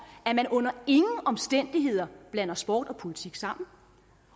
at man under ingen omstændigheder blander sport og politik sammen